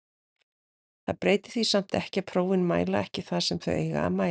Það breytir því samt ekki að prófin mæla ekki það sem þau eiga að mæla.